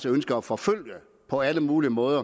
ønsker at forfølge på alle mulige måder